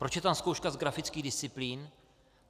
Proč je tam zkouška z grafických disciplín?